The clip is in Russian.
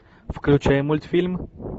включай мультфильм